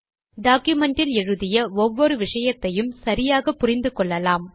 document இல் எழுதிய ஒவ்வொரு விஷயத்தையும் சரியாக புரிந்து கொள்ளலாம்